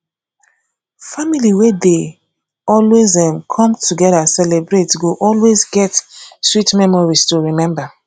family wey dey always um come together celebrate go always get sweet memories to remember